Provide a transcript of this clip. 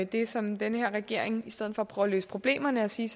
det som den her regering i stedet for at prøve at løse problemerne og sige